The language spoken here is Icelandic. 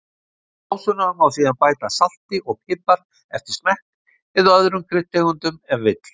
Í sósuna má síðan bæta salti og pipar eftir smekk, eða öðrum kryddtegundum ef vill.